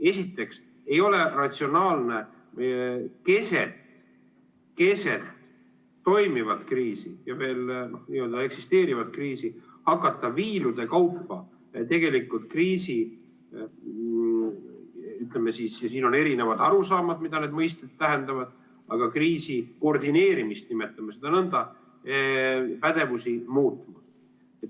Esiteks ei ole ratsionaalne keset toimivat kriisi, veel n-ö eksisteerivat kriisi hakata viilude kaupa – siin on erinevad arusaamad, mida need mõisted tähendavad – kriisi koordineerimist, nimetame seda nõnda, ja pädevusi muutma.